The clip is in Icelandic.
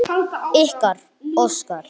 Ykkar, Óskar.